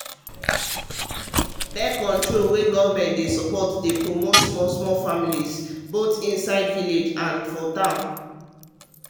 birth-control wey government support dey promote small small families both inside village and town